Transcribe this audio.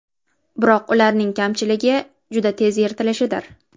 Biroq ularning kamchiligi juda tez yirtilishidir.